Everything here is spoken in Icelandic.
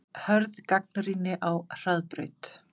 Hörð gagnrýni á Hraðbraut